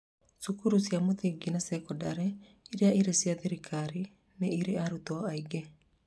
cukuru cia mũthingi na cekondarĩ iria ire cia thirikari nĩ ire arutwo aingĩ.